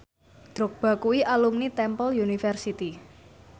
Drogba kuwi alumni Temple University